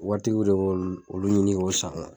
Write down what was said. Waritigiw de b'olu olu ɲini k'o san